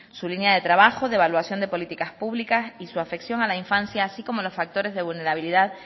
su línea de trabajo de evaluación de políticas públicas y su afección a la infancia así como los factores de vulnerabilidad